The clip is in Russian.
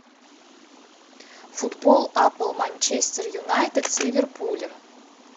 футбол апл манчестер юнайтед с ливерпулем